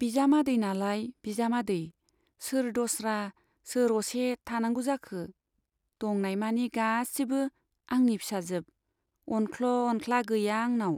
बिजामादै नालाय बिजामादै , सोर दस्रा सोर असे थानांगौ जाखो ? दंनायमानि गासिबो आंनि फिसाजोब , अनख्ल' अनख्ला गैया आंनाव।